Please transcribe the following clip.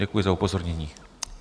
Děkuji za upozornění.